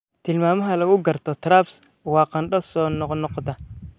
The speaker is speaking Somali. Tilmaamaha lagu garto TRAPS waa qandho soo noqnoqda.